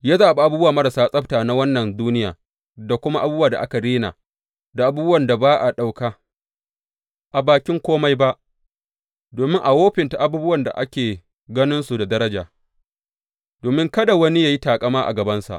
Ya zaɓi abubuwa marasa martaba na wannan duniya da kuma abubuwan da aka rena da abubuwan da ba a ɗauka a bakin kome ba, domin a wofinta abubuwan da ake ganinsu da daraja, domin kada wani ya yi taƙama a gabansa.